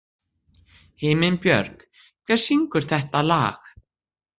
Himinbjörg, hver syngur þetta lag?